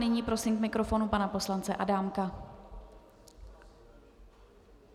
Nyní prosím k mikrofonu pana poslance Adámka.